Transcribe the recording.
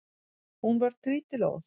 Hún varð trítilóð.